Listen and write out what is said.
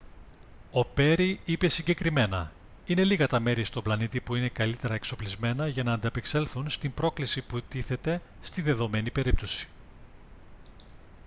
ο πέρι είπε συγκεκριμένα: «είναι λίγα τα μέρη στον πλανήτη που είναι καλύτερα εξοπλισμένα για να ανταπεξέλθουν στην πρόκληση που τίθεται στη δεδομένη περίπτωση»